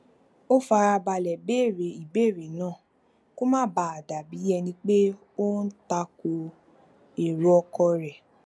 ó fara balè béèrè ìbéèrè náà kó má bàa dà bí ẹni pé ó ń ta ko èrò ọkọ rè